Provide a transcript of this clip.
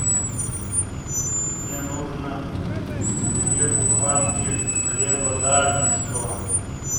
мне нужно две буханки хлеба дарницкого